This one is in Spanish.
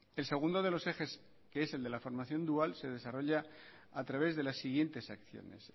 el segundo de los ejes que es el de la formación dual se desarrolla a través de las siguientes acciones